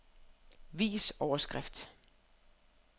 Vis overskrift.